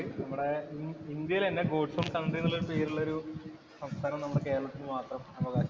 നമ്മടെ ഇന്ത്യയില് തന്നെ ഗോഡ്സ് ഓണ്‍ കണ്‍ട്രി എന്നുള്ള പേരില് ഒരു സംസ്ഥാനം നമ്മടെ കേരളത്തിനു മാത്രം അവകാശം